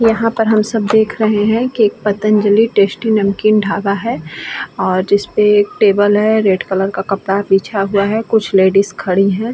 यहाँ पर सब हम देख रहे हैं कि एक पतंजलि टेस्टी नमकीन ढाबा है और जिसपे एक टेबल है। रेड कलर का कपड़ा बिछा हुआ है। कुछ लेडीज खड़ी है।